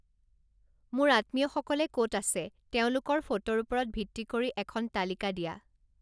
মোৰ আত্মীয়সকলে ক'ত‌ আছে তেওঁলোকৰ ফটোৰ ওপৰত ভিত্তি কৰি এখন তালিকা দিয়া